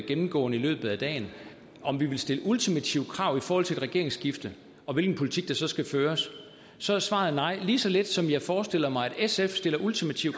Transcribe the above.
gennemgående i løbet af dagen om vi vil stille ultimative krav i forhold til et regeringsskifte og hvilken politik der så skal føres så er svaret nej lige så lidt som jeg forestiller mig at sf stiller ultimative